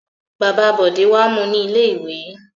Bàbá Bọ̀dé wá mú u ní ilé-ìwé.